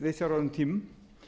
viðsjárverðum tímum